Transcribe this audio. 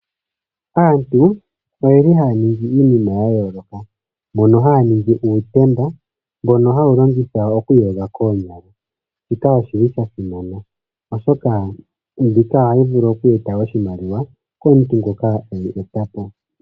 Aantu oyeli haya ningi iinima ya yooloka mono haya ningi uutemba mbono hawu longithwa oku iyoga koonyala, shika oshili sha simana oshoka mbika ohayi vulu oku e ta oshimaliwa komuntu ngoka eyi e ta po.